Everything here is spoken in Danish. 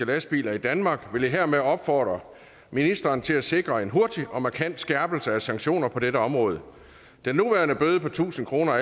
lastbiler i danmark vil jeg hermed opfordre ministeren til at sikre en hurtig og markant skærpelse af sanktioner på dette område den nuværende bøde på tusind kroner